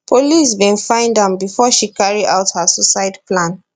police bin find am bifor she carry out her suicide plan